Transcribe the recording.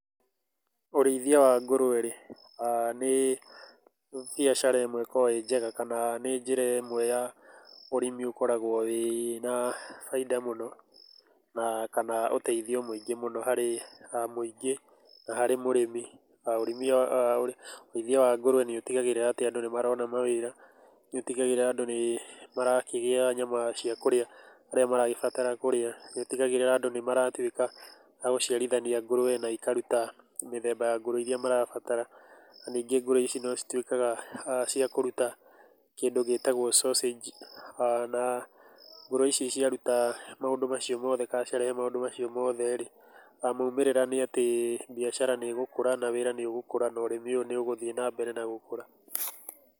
Ũrĩithia wa ngũrũe rĩ nĩ biacara ĩmwe ĩkoragũo ĩĩ njega kana nĩ njĩra ĩmwe ya ũrĩmi ũkoragũo wĩna baita mũno, na kana ũteithio mũingĩ mũno harĩ mũingĩ, na harĩ mũrĩmi. Ũrĩithia wa ngũrũe nĩ ũtigagĩrĩra atĩ andũ nĩ marona mawĩra, nĩũtigagĩrĩra andũ nĩ marakĩgĩa nyama cia kũrĩa arĩa maragĩbatara kũrĩa. Nĩ ũtigagĩrĩra andũ nĩ maratuĩka a gũciarithania ngũrũe na ikaruta mĩthemba ya ngũrũe cia mĩthemba ya ngũrũe irĩa marabatara. Na ningĩ ngũrũe ici no cituĩkaga cia kũruta kĩndũ gĩtagũo sausage na ngũrũe ici ciaruta maũndũ macio mothe kana ciarehe maũndũ macio mothe rĩ, moimĩrĩra nĩ atĩ biacara nĩ ĩgũkũra na wĩra nĩ ũgũkũra na ũrĩmi ũyũ nĩ ũgũthiĩ na mbere na gũkũra.